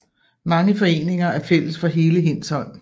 Mange foreninger er fælles for hele Hindsholm